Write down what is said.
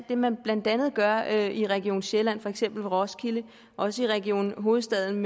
det man blandt andet gør i region sjælland for eksempel i roskilde og også i region hovedstaden